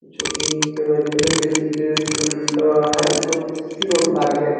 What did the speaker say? जो कि basically um uh है जो कि सिर और बार में --